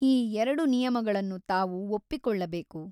ಈ ಎರಡು ನಿಯಮಗಳನ್ನು ತಾವು ಒಪ್ಪಿಕೊಳ್ಳಬೇಕು.